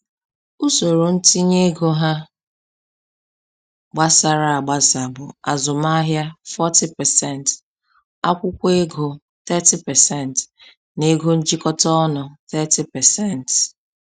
Usoro ntinye ego ha gbasara agbasa bụ: azụmahịa 40%, akwụkwọ ego 30%, na ego njikọta ọnụ 30%.